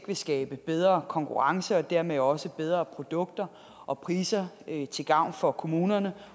vil skabe bedre konkurrence og dermed også bedre produkter og priser til gavn for kommunerne